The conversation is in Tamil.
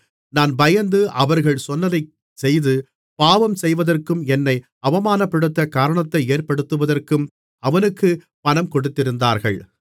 நான் பயந்து அவர்கள் சொன்னதைச்செய்து பாவம் செய்வதற்கும் என்னை அவமானப்படுத்த காரணத்தை ஏற்படுத்துவதற்கும் அவனுக்கு பணம் கொடுத்திருந்தார்கள்